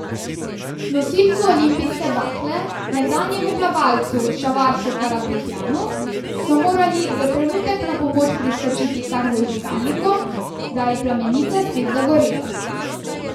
Nosilcu olimpijske bakle, nekdanjemu plavalcu Šavaršu Karapetjanu so morali za trenutek na pomoč priskočiti kar z vžigalnikom, da je plamenica spet zagorela.